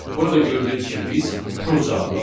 Burada gördüyünüz kimi biz true cavabını aldıq.